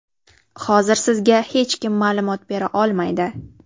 Hozir sizga hech kim ma’lumot bera olmaydi.